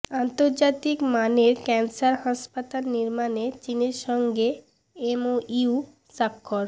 আন্তর্জাতিক মানের ক্যান্সার হাসপাতাল নির্মাণে চীনের সঙ্গে এমওইউ স্বাক্ষর